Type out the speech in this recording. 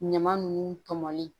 Ɲama nunnu tɔmɔlen